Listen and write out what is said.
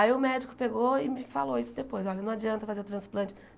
Aí o médico pegou e me falou isso depois, olha, não adianta fazer o transplante.